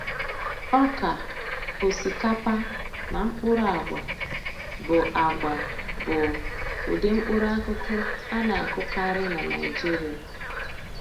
Ọka, osikapa, na mkpụrụ agwa bụ agwa bụ ụdị mkpụrụakụkụ a na-akụkarị na Naịjirịa.